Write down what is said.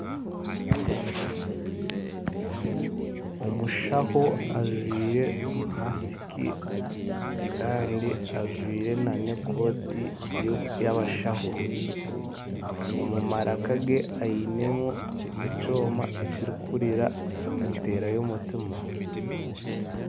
Omushaho ajwire masiki kandi ajwire n'ekooti y'abashaho, omu maraka ge ainemu ekyoma ekirikuhurira enteera y'omutima